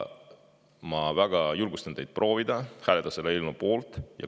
Ma julgustan teid hääletama selle eelnõu poolt.